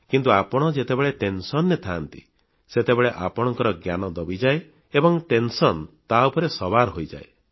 କିନ୍ତୁ ଆପଣ ଯେତେବେଳେ ଭାରାକ୍ରାନ୍ତ ମନରେ ଥାଆନ୍ତି ସେତେବେଳେ ଆପଣଙ୍କ ଜ୍ଞାନ ଦବିଯାଏ ଏବଂ ଟେନସନ୍ ତା ଉପରେ ବୋଝ ହୋଇଯାଏ